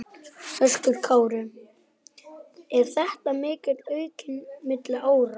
Höskuldur Kári: Er þetta mikil aukning milli ára?